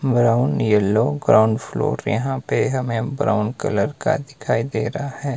Brown yellow ground floor यहां पे हमें ब्राउन कलर का दिखाई दे रहा है।